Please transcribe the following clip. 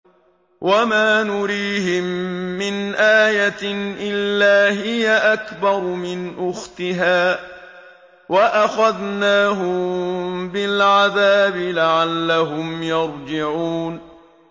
وَمَا نُرِيهِم مِّنْ آيَةٍ إِلَّا هِيَ أَكْبَرُ مِنْ أُخْتِهَا ۖ وَأَخَذْنَاهُم بِالْعَذَابِ لَعَلَّهُمْ يَرْجِعُونَ